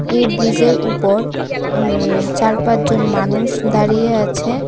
এই ব্রীজের উপর আঃ চার পাঁচ জন মানুষ দাঁড়িয়ে আছে .